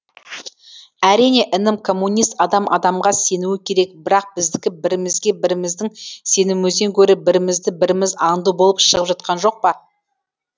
әрине інім коммунист адам адамға сенуі керек бірақ біздікі бірімізге біріміздің сенуімізден гөрі бірімізді біріміз аңду болып шығып жатқан жоқ па